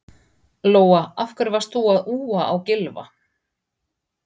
Lóa: Af hverju varst þú að úa á Gylfa?